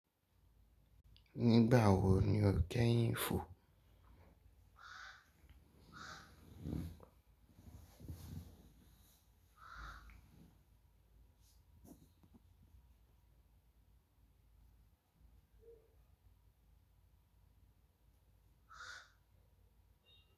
Nigba wo ni o keyin fo.